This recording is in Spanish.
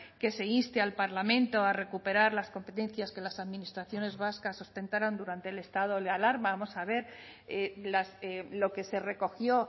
que se inste al parlamento a recuperar las competencias que las administraciones vascas ostentaron durante el estado de alarma vamos a ver lo que se recogió